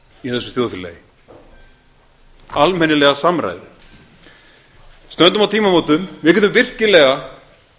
í þessu þjóðfélagi almennilega samræðu stöndum á tímamótum við getum virkilega